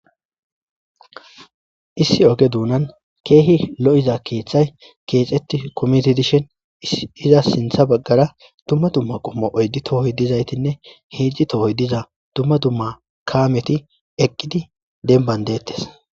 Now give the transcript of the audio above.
issi oge duunan keehi lo7iza keeththay keexetti komiti dishin iza sintha baggara dumma dumma qommo oyddi tohoy dizaytinne heejji tohoy diza dumma dumma kaameti eqqidi denban deettes